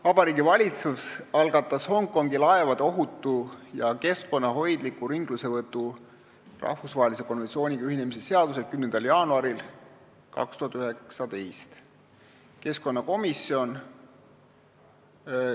Vabariigi Valitsus algatas Hongkongi laevade ohutu ja keskkonnahoidliku ringlussevõtu rahvusvahelise konventsiooniga ühinemise seaduse 10. jaanuaril 2019. aastal.